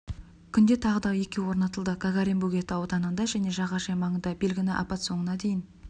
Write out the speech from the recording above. күнде тағы да екеуі орнатылды гагарин бөгеті ауданында және жағажай маңында белгіні апта соңына дейін